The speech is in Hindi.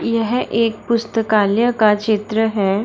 यह एक पुस्तकालय का चित्र है।